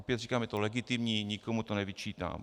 Opět říkám, je to legitimní, nikomu to nevyčítám.